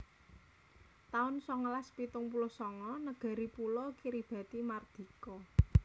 taun songolas pitung puluh sanga Negari pulo Kiribati mardika